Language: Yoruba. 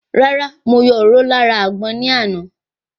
Rárá, mo yọ òróró lára àgbọn ní àná